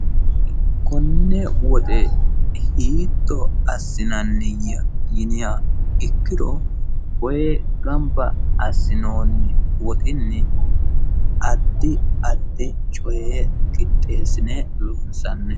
Konne woxe hiitto assinanniya yiniha ikkiro woyi gamba assinonni woxxinni addi addi coye qixxeessine loonsanni.